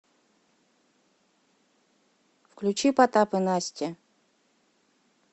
включи потап и настя